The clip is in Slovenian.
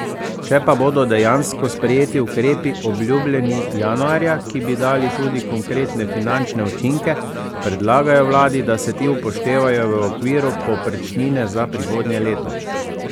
Če pa bodo dejansko sprejeti ukrepi, obljubljeni januarja, ki bi dali tudi konkretne finančne učinke, predlagajo vladi, da se ti upoštevajo v okviru povprečnine za prihodnje leto.